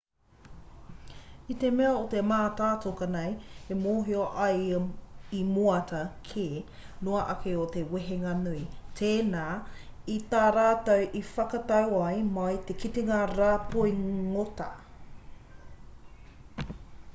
i te mea o te mātātoka nei e mōhio ai i moata ke noa ake o te wehenga nui tēnā i tā rātou i whakatau ai mā te kitenga rāpoi ngota